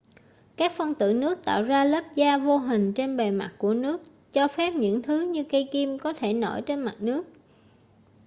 các phân tử nước tạo ra lớp da vô hình trên bề mặt của nước cho phép những thứ như cây kim có thể nổi trên mặt nước